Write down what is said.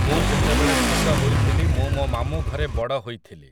ମୁଁ ଯେତେବେଳେ ଛୋଟ ହୋଇଥିଲି ମୁଁ ମୋ ମାମୁଁଘରେ ବଡ଼ ହୋଇଥିଲି ।